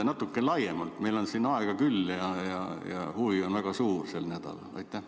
Natuke laiemalt, meil on aega küll ja huvi on sel nädalal väga suur.